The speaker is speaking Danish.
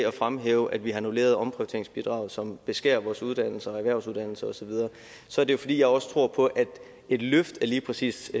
at fremhæve at vi har annulleret omprioriteringsbidraget som beskærer vores uddannelser erhvervsuddannelser osv så er det jo fordi jeg også tror på at et løft af lige præcis